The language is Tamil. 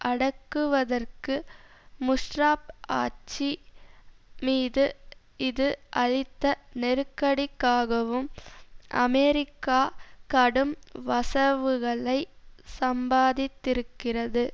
அடக்குவதற்கு முஷரஃப் ஆட்சி மீது இது அளித்த நெருக்கடிக்காகவும் அமெரிக்கா கடும் வசவுகளை சம்பாதித்திருக்கிறது